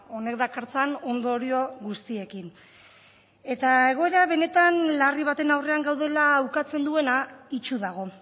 honek dakartzan ondorio guztiekin eta egoera benetan larri baten aurrean gaudela ukatzen duena itsu dago